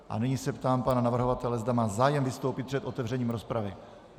A nyní se ptám pana navrhovatele, zda má zájem vystoupit před otevřením rozpravy.